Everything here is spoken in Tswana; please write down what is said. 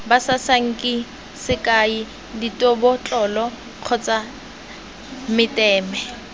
basasanki sekai dibotlolo kgotsa meteme